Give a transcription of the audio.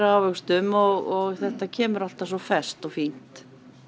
ávöxtum og þetta kemur alltaf svo ferskt og fínt